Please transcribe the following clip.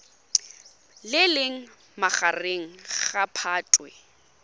le leng magareng ga phatwe